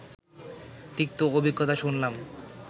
তিক্ত অভিজ্ঞতা শুনলাম